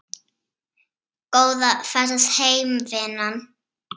Góða ferð heim vinan.